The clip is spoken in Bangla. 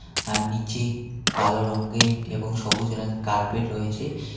আর নিচে কালো রঙ্গের এবং সবুজ রঙ কার্পেট রয়েছে .